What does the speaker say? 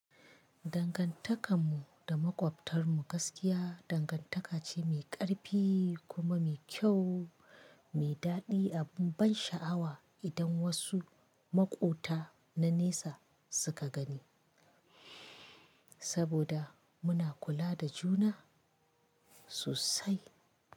Dangantakar mu da makwabtarmu gaskiya dangantaka ce mai ƙarfi kuma mai kyau, mai daɗi a bun ban sha'awa idan wasu maƙota na nesa suka gani, saboda muna kula da juna sosai.